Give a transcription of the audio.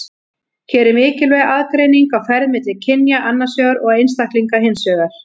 Hér er mikilvæg aðgreining á ferð milli kynja annars vegar og einstaklinga hins vegar.